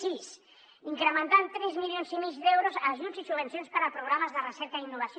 sis incrementar en tres milions i mig d’euros ajuts i subvencions per a programes de recerca i innovació